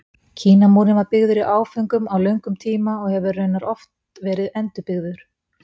Kínamúrinn var byggður í áföngum á löngum tíma og hefur raunar oft verið endurbyggður.